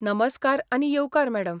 नमस्कार आनी येवकार मॅडम.